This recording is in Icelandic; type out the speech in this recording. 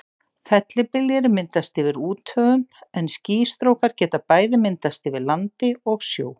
Fellibyljir myndast yfir úthöfum en skýstrókar geta bæði myndast yfir landi og sjó.